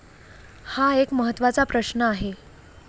हा एक महत्वाचा प्रश्न आहे.